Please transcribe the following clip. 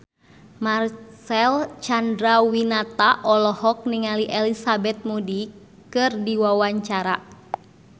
Marcel Chandrawinata olohok ningali Elizabeth Moody keur diwawancara